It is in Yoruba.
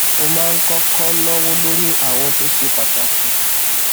ó máa ń kókó náwó lórí àwọn ohun tó ṣe pàtàkì